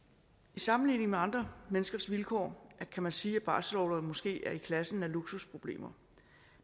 i sammenligning med andre menneskers vilkår kan man sige at barselsorloven måske er i klassen af luksusproblemer